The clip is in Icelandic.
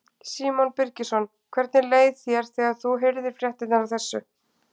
Símon Birgisson: Hvernig leið þér þegar þú heyrðir fréttirnar af þessu?